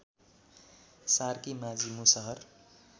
Sarki Majhi Musahar